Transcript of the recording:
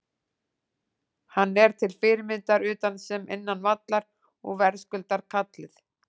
Hann er til fyrirmyndar utan sem innan vallar og verðskuldar kallið.